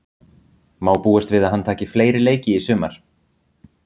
Má búast við að hann taki fleiri leiki í sumar?